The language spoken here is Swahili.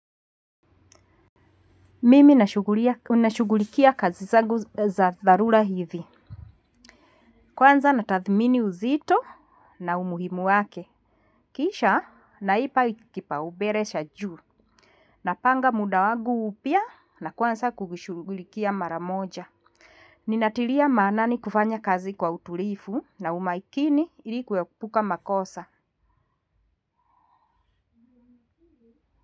Mimi nashugulikia kazi zangu za dharura hivi. Kwanza natathmini uzito na umuhimu wake. Kisha naipa kipaubere cha juu. Napanga muda wagu pia na kwanza kuishughulikia mara moja. Ninatiria maanani kufanya kazi kwa utulifu na umakini ili kuepuka makosa.